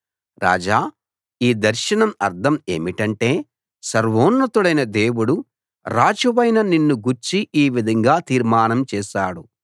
రాజా ఈ దర్శనం అర్థం ఏమిటంటే సర్వోన్నతుడైన దేవుడు రాజువైన నిన్ను గూర్చి ఈ విధంగా తీర్మానం చేశాడు